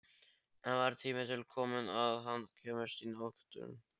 Það var tími til kominn að hann kæmist í notkun!